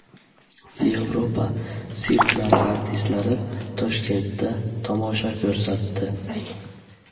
Yevropa sirklari artistlari Toshkentda tomosha ko‘rsatdi .